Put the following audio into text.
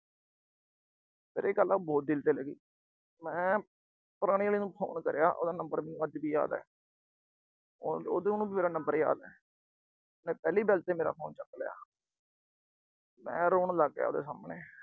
ਮੇਰੇ ਇਹ ਗੱਲ ਨਾ ਬਹੁਤ ਦਿਲ ਤੇ ਲੱਗੀ। ਮੈਂ ਪੁਰਾਣੀ ਆਲੀ ਨੂੰ phone ਕਰੀਆ। ਉਹਦਾ number ਮੈਨੂੰ ਅੱਜ ਵੀ ਯਾਦ ਏ। ਉਹ ਅਹ ਉਹਨੂੰ ਵੀ ਮੇਰਾ number ਯਾਦ ਏ। ਉਹਨੇ ਪਹਿਲੀ bell ਤੇ ਮੇਰਾ phone ਚੱਕ ਲਿਆ ਮੈਂ ਰੋਣ ਲੱਗ ਗਿਆ ਉਹਦੇ ਸਾਮਣੇ।